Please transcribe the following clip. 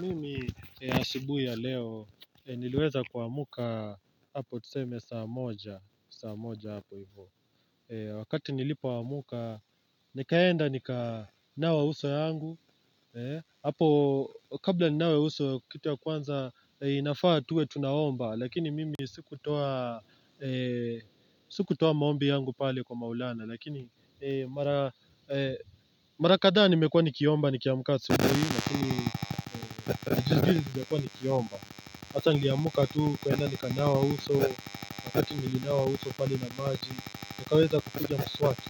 Mimi asibuhi ya leo niliweza kuamka hapo tuseme saa moja saa moja hapo hivyo Wakati nilipoamka nikaenda nika nawa uso yangu Hapo kabla ninawe uso kitu ya kwanza inafaa tuwe tunaomba Lakini mimi siku toa siku toa maombi yangu pale kwa maulana Lakini mara kadha nimekuwa nikiomba ni kiamuka asubuhi Lakini niliamuka tu kwenda nikanawa uso Wakati nilinawa uso pali na maji nikaweza kutugia mswaki